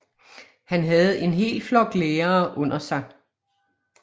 Han havde en hel flok lærere under sig